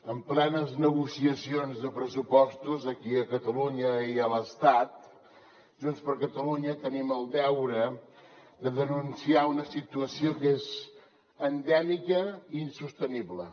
en plenes negociacions de pressupostos aquí a catalunya i a l’estat junts per catalunya tenim el deure de denunciar una situació que és endèmica i insostenible